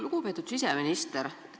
Lugupeetud siseminister!